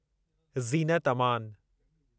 Zeenat Aman